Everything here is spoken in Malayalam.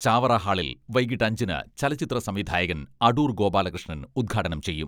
ചാവറ ഹാളിൽ വൈകീട്ട് അഞ്ചിന് ചലച്ചിത്ര സംവിധായകൻ അടൂർ ഗോപാലകൃഷ്ണൻ ഉദ്ഘാടനം ചെയ്യും.